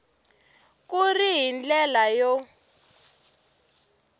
ku ri hi ndlela yo